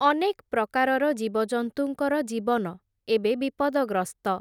ଅନେକ୍ ପ୍ରକାରର ଜୀବଜନ୍ତୁଙ୍କର ଜୀବନ, ଏବେ ବିପଦଗ୍ରସ୍ତ ।